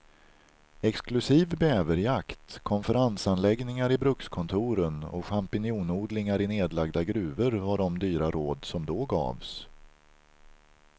Exklusiv bäverjakt, konferensanläggningar i brukskontoren och champinjonodlingar i nedlagda gruvor var de dyra råd som då gavs.